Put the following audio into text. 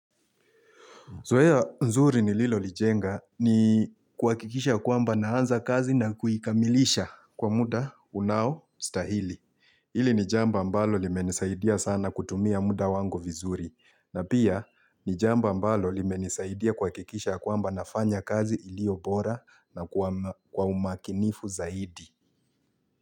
Zoea ya nzuri ni Lilo Lijenga ni kwakikisha kwamba naanza kazi na kuikamilisha kwa muda unawo stahili. Ili ni jamba ambalo limenisaidia sana kutumia muda wangu vizuri. Na pia ni jamba ambalo limenisaidia kwa kikisha kwamba nafanya kazi ilio bora na kwa umakinifu zaidi.